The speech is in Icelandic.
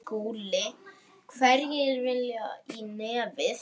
SKÚLI: Hverjir vilja í nefið.